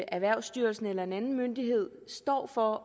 erhvervsstyrelsen eller en anden myndighed står for